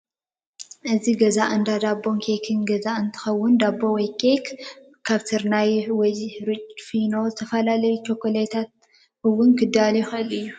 እዚ ገዛ እዚ እንዳ ዳቦን ኬክን ገዛ እንትከውን ዳቦ ወይ ከኣ ኬክ ካብ ስርናይ ወይ ሕሩጭ ፊኖ ዝተፈላለዩ ቸኮሌታትን እውን ክዳሎ ይክእል እዩ።